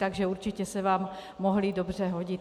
Takže určitě se vám mohly dobře hodit.